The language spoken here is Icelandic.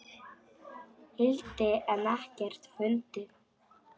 hildi en ekkert fundið.